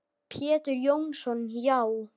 Pétur Jónsson Já.